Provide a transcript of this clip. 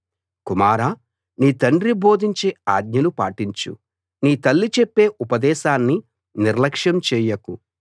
కుమారా నీ తండ్రి బోధించే ఆజ్ఞలు పాటించు నీ తల్లి చెప్పే ఉపదేశాన్ని నిర్ల్యక్షం చెయ్యకు